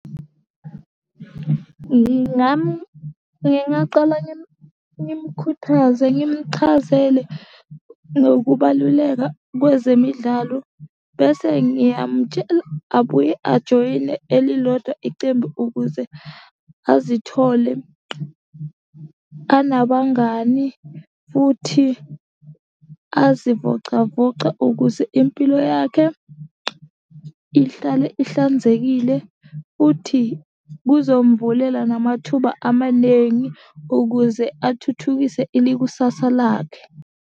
Ngingaqala ngimkhuthaze ngimchazele ngokubaluleka kwezemidlalo bese ngiyamutshela abuye ajoyine elilodwa icembu ukuze azithole anabangani futhi azivocavoce ukuze impilo yakhe ihlale ihlanzekile, futhi buzomvulela namathuba amanengi ukuze athuthukise ilikusasa lakhe.